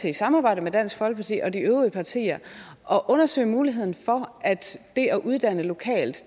i samarbejde med dansk folkeparti og de øvrige partier at undersøge muligheden for at det at uddanne lokalt